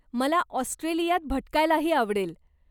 मला ऑस्ट्रेलियात भटकायलाही आवडेल.